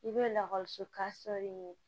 I bɛ lakɔliso ka sɔr'i ɲɛ